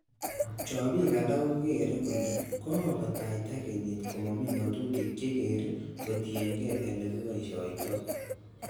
Chobik alak kogere kole ko kakobataita kenyit komomi ngotutik che kergei kotienge ele kiboishioto.